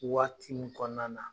Waati min kɔɔna na